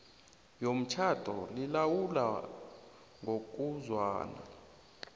yomtjhado lilawulwa ngokuzwana